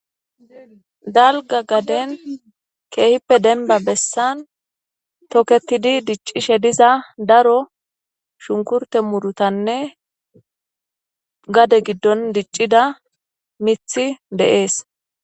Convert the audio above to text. Dalga gaden keehippe denba bessan toketidi diccishe diza daro shunkurte murutanne gade giddon diccida mithi deees